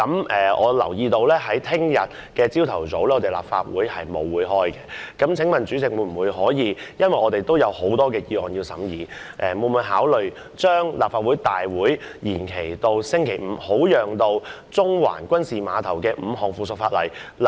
我留意到明天早上立法會沒有任何會議，既然我們還有很多議案有待審議，請問主席會否考慮將立法會會議延期至星期五，以便審議5項附屬法例？